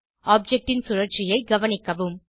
object ன் சுழற்சியை கவனிக்கவும்